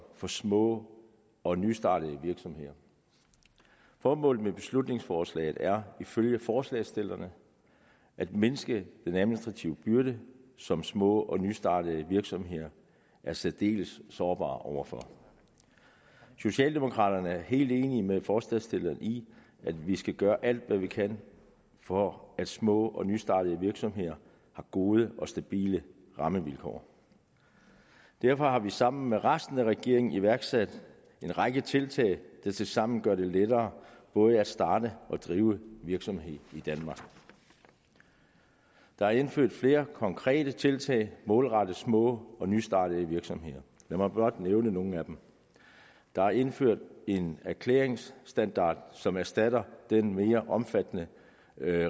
for små og nystartede virksomheder formålet med beslutningsforslaget er ifølge forslagsstillerne at mindske den administrative byrde som små og nystartede virksomheder er særdeles sårbare over for socialdemokraterne er helt enige med forslagsstillerne i at vi skal gøre alt hvad vi kan for at små og nystartede virksomheder har gode og stabile rammevilkår derfor har vi sammen med resten af regeringen iværksat en række tiltag der tilsammen gør det lettere både at starte og drive virksomhed i danmark der er indført flere konkrete tiltag målrettet små og nystartede virksomheder lad mig blot nævne nogle af dem der er indført en erklæringsstandard som erstatter den mere omfattende